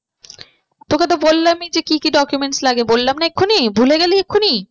তোকে তো বললামই যে কি কি document লাগে বললাম না এক্ষুনি ভুলে গেলি এক্ষুনি?